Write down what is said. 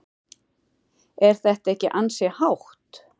Er þetta ekki ansi hátt?